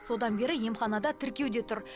содан бері емханада тіркеуде тұр